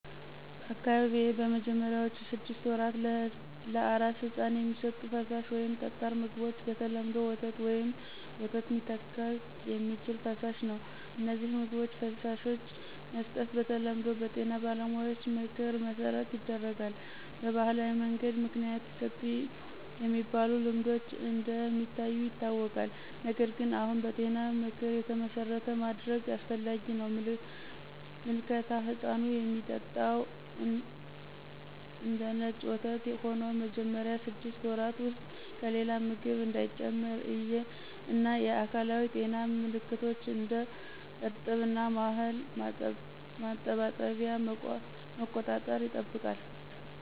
በአካባቢዎ በመጀመሪያዎቹ ስድስት ወራት ለአራስ ሕፃን የሚሰጡት ፈሳሽ ወይም ጠጣር ምግቦች በተለምዶ ወተት ወይም ወተት ሚተካ የሚችል ፈሳሽ ነው። እነዚህን ምግቦች/ፈሳሾች መስጠት በተለምዶ በጤና ባለሙያዎች ምክር መሠረት ይደረጋል። በባህላዊ መንገድ ምክንያት ይሰጡ የሚባሉ ልማዶች እንደ ሚታዩ ይታወቃል፣ ነገር ግን አሁን በጤና ምክር የተመሠረተ ማድረግ አስፈላጊ ነው። ምልከታ ሕፃኑ የሚጠጣው እንደነጭ ወተት ሆኖ መጀመሪያ ስድስት ወራት ውስጥ ከሌላ ምግብ እንዳይጨምር እና የአካላዊ ጤና ምልከቶች (እንደ እርጥብ እና ማህል ማጠባበቂያ) መቆጣጠር ይጠበቃል።